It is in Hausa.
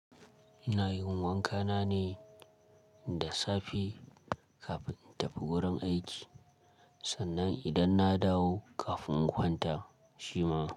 Ina yin wanka na ne da safe kafin in tafi wurin aiki sannan idan na dawo kafin in kwanta, shima.